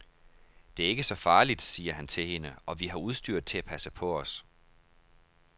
Det er ikke så farligt, siger han til hende, og vi har udstyret til at passe på os.